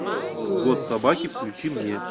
год собаки включи мне